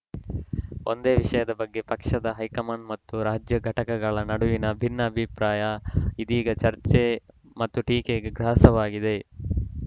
ಒಂದೇ ವಿಷಯದ ಬಗ್ಗೆ ಪಕ್ಷದ ಹೈಕಮಾಂಡ್‌ ಮತ್ತು ರಾಜ್ಯ ಘಟಕಗಳ ನಡುವಿನ ಭಿನ್ನ ಅಭಿಪ್ರಾಯ ಇದೀಗ ಚರ್ಚೆ ಮತ್ತು ಟೀಕೆಗೆ ಗ್ರಾಸವಾಗಿದೆ